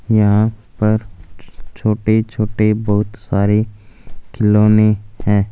यहां पर छोटे छोटे बहुत सारे खिलौने हैं।